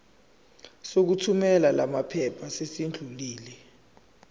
sokuthumela lamaphepha sesidlulile